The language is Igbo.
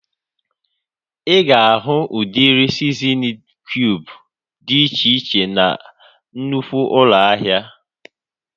Ịga ahu udiri sizinin kiub dị iche iche na nnụkwụ ụlọ ahịa